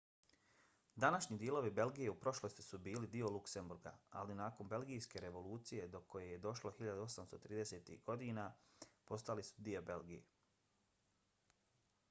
današnji dijelovi belgije u prošlosti su bili dio luksemburga ali nakon belgijske revolucije do koje je došlo 1830-ih godina postali su dio belgije